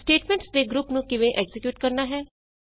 statements ਦੇ group ਨੂੰ ਕਿਵੇਂ ਐਕਜ਼ੀਕਿਯੂਟ ਕਰਨਾ ਹੈ